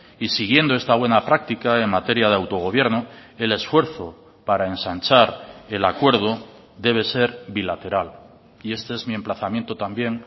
y siguiendo esta buena práctica en materia de autogobierno el esfuerzo para ensanchar el acuerdo debe ser bilateral y este es mi emplazamiento también